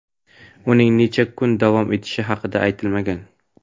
uning necha kun davom etishi haqida aytilmagan.